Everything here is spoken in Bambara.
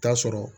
Taa sɔrɔ